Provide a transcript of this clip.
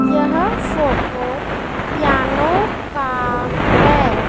यह photo piano का है।